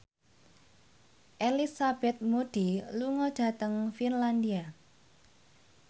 Elizabeth Moody lunga dhateng Finlandia